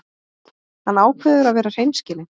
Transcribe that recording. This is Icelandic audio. Hann ákveður að vera hreinskilinn.